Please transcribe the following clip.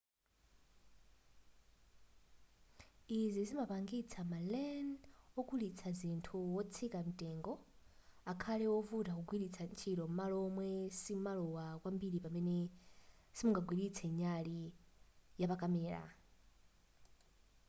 izi zimapangitsa ma len okulitsa zinthu wotsika mtengo akhale wovuta kugwiritsa ntchito m'malo momwe simowala kwambiri pamene simunagwiritse nyali yapakamera